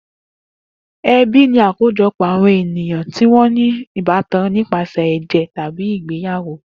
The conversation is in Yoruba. Ebí ni àkójopò àwọn ènìyàn tí wọn ní ìbátan nípasẹ̀ èjè tábí ìgbeyàwó